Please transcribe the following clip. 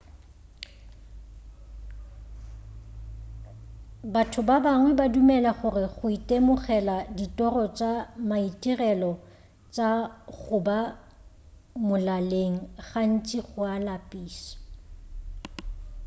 batho ba bangwe ba dumela gore go itemogela ditoro tša maitirelo tša go ba molaleng gantši go a lapiša